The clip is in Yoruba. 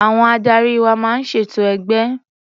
Àwọn adarí wa máa ń ṣètò ẹgbẹ́